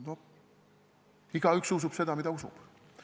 Noh, igaüks usub seda, mida ta usub.